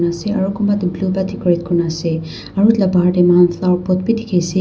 aro kunba tu clean ba decorate kuri na ase aro etu la bahar dae ami kan flower pot b diki ase.